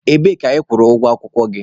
Ebee ka ị jere kwụọ ụgwọ akwụkwọ gị?